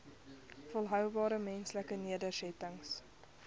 volhoubare menslike nedersettings